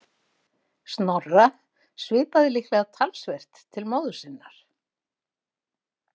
Snorra svipaði líklega talsvert til móður sinnar.